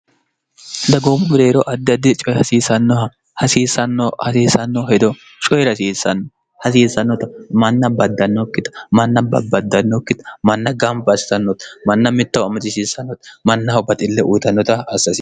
dagoommu bireero addiaddi coye hasiisannoha hasiisanno hedo coyi'r hasiisannota manna baddannookkita manna bbbaddannokkita manna gam baasisannota manna mittahu ammacishiissannota mannaho baxille uyitannota assaasi